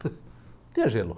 Não tinha gelo.